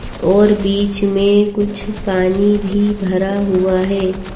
और बीच मे कुछ पानी भी भरा हुआ है।